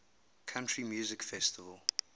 country music festival